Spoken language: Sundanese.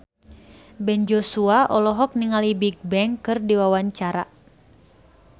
Ben Joshua olohok ningali Bigbang keur diwawancara